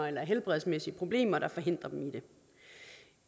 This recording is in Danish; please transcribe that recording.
eller helbredsmæssige problemer der forhindrer dem i det